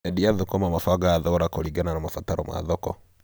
Endia a thũkũma mabangaga thogora kũringana na mabataro ma thoko.